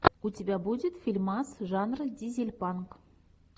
у тебя будет фильмас жанра дизельпанк